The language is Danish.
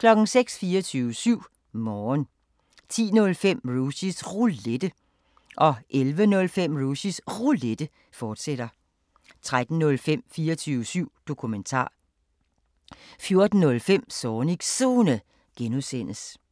24syv Morgen 10:05: Rushys Roulette 11:05: Rushys Roulette, fortsat 13:05: 24syv Dokumentar 14:05: Zornigs Zone (G)